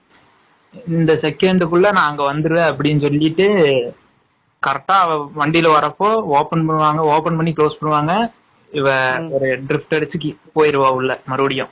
இந்த second குள்ள நான் அங்க வந்துருவேன் அப்டினு சொல்லிட்டு correct டா வண்டில வரப்போ open பண்ணி close பண்ணுவாங்க இவ போயிருவா உள்ள மறுபடியும்